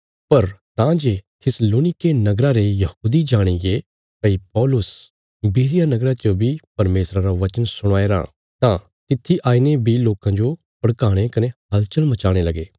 पर तां जे थिस्सलुनीके नगरा रे यहूदी जाणीगे भई पौलुस बिरिया नगरा च बी परमेशरा रा वचन सुणाये राँ तां तित्थी आईने बी लोकां जो भड़काणे कने हलचल मचाणे लगे